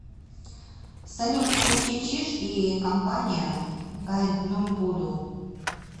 салют включи чиж и компания гайдном буду